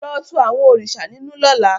Lo tú àwọn òrìṣà ninu lọ́la!